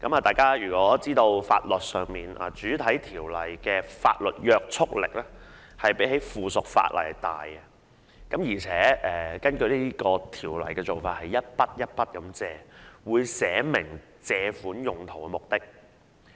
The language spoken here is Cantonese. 大家也知道在法律上，主體法例的法律約束力大於附屬法例，而根據相關條例的做法，款項是逐項借入，亦會註明借款用途或目的。